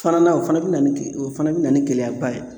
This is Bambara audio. Falanan o fana bi na ni ge o fana bi na ni gɛlɛyaba ye.